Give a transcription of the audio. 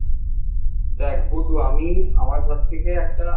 দেখ গুড্ডু আমি আমার ঘর থেকে একটা